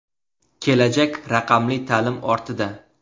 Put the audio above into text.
Kelajak raqamli ta’lim ortida.